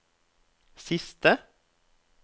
siste